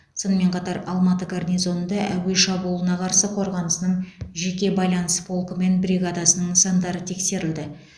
сонымен қатар алматы гарнизонында әуе шабуылына қарсы қорғанысының жеке байланыс полкі мен бригадасының нысандары тексерілді